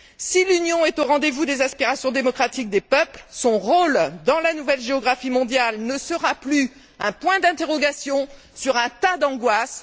Si l'Union est au rendez vous des aspirations démocratiques des peuples, son rôle dans la nouvelle géographie mondiale ne sera plus un point d'interrogation sur un tas d'angoisses.